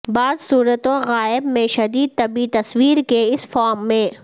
بعض صورتوں غائب میں شدید طبی تصویر کے اس فارم میں